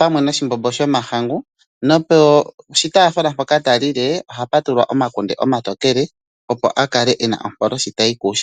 pamwe noshimbombo shomahangu nopo shi taafula mpoka ta lile ohapu tulwa omakunde omatokela, opo a kale e na ompolo shi tayi kuushimba.